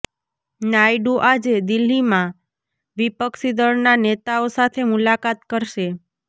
નાયડુ આજે દિલ્લીમાં વિપક્ષી દળના નેતાઓ સાથે મુલાકાત કરશે